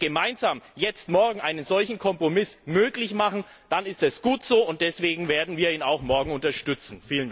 Und wenn wir gemeinsam morgen einen solchen Kompromiss möglich machen, dann ist es gut so, und deswegen werden wir ihn auch morgen unterstützen.